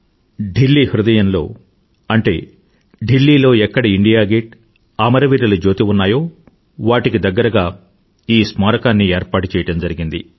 ఢిల్లీ హృదయంలో అంటే ఢిల్లీలో ఎక్కడ ఇండియా గేట్ అమరవీరుల జ్యోతి ఉన్నాయో వాటికి దగ్గరగా ఈ స్మారకాన్ని ఏర్పాటుచెయ్యడం జరిగింది